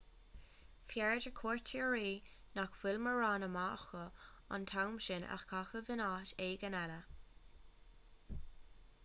b'fhearr do chuairteoirí nach bhfuil mórán ama acu an t-am sin a chaitheamh in áit éigin eile